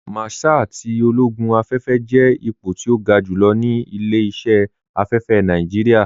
Márṣál tí ológún afẹ́fẹ́ jẹ́ ìpọ̀ tí o gá júlọ̀ ní ilẹ̀-iṣẹ̀ afẹ́fẹ́ Nàìjíríà.